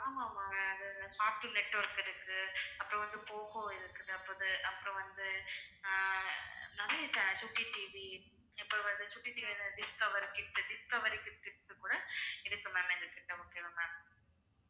ஆமா ma'am அது Cartoon Network இருக்கு அப்புறம் வந்து போகோ இருக்குது அப்புறம் வந்து ஆஹ் நிறைய channels சுட்டி டிவி அப்புறம் வந்து சுட்டிக்கு தேவையான Discover Kids, Discovery Kids dish இது கூட இருக்கு ma'am எங்ககிட்ட முக்கியமா ma'am